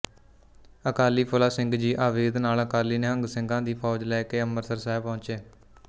ਅਕਾਲੀ ਫੂਲਾ ਸਿੰਘ ਜੀ ਆਵਦੇ ਨਾਲ ਅਕਾਲੀ ਨਿਹੰਗ ਸਿੰਘਾਂ ਦੀ ਫੌਜ ਲੈ ਅੰਮ੍ਰਿਤਸਰ ਸਾਹਿਬ ਪਹੁੰਚੇ